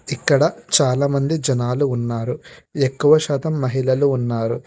ఇక్కడ చాలా మంది జనాల ఉన్నారు ఎక్కువశాతం మహిళలు ఉన్నారు.